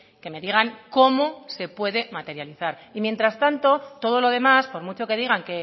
que me digan cómo se puede materializar y mientras tanto todo lo demás por mucho que digan